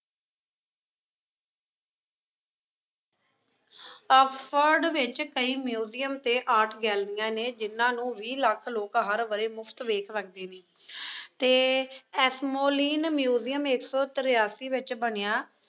Oxford ਵਿੱਚ ਕਈ museum ਅਤੇ art ਗੈਲਰੀਆਂ ਨੇ ਜਿਹਨਾਂ ਨੂੰ ਵੀਹ ਲੱਖ ਲੋਕ ਹਰ ਵਰ੍ਹੇ ਮੁਫ਼ਤ ਵੇਖ ਸਕਦੇ ਨੇਂ ਅਤੇ ਐਸ਼ਮੋਲੀਨ ਮਿਊਜ਼ੀਅਮ ਇੱਕ ਸੌ ਤੇਰਾਸੀ ਵਿੱਚ ਬਣਿਆ,